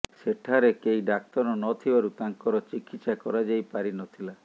ସେଠାରେ କେହି ଡାକ୍ତର ନଥିବାରୁ ତାଙ୍କର ଚିକିତ୍ସା କରାଯାଇ ପାରି ନଥିଲା